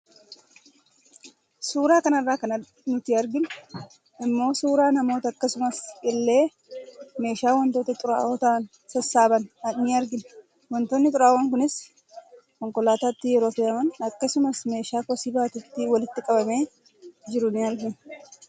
Suura kanarraa kan nuti arginu immoo suuraa namoota akkasuma illee meeshaa waantota xuraawoo tahan sassaaban ni argina. Waantotni xuraawoon kunis konkolaataatti yeroo fe'aman akkasumas meeshaa kosii baatuutti walitti qabamee jiru in argina.